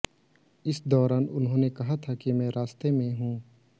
इस दौरान उन्होंने कहा था कि मैं रास्ते में हूं